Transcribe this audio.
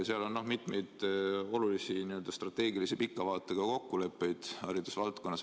Seal on mitmeid olulisi strateegilisi pika vaatega haridusvaldkonna kokkuleppeid.